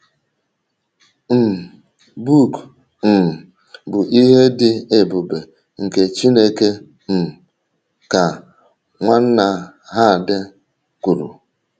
um “ book um bụ ihe dị ebube nke Chineke um, ” ka Nwanna Herd kwuru.